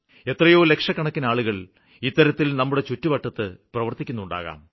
എത്രയോ ലക്ഷക്കണക്കിനാളുകള് ഇത്തരത്തില് നമ്മുടെ ചുറ്റുവട്ടത്ത് പ്രവര്ത്തിക്കുന്നുണ്ടാവാം